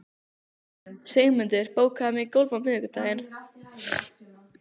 Sigmundur, bókaðu hring í golf á miðvikudaginn.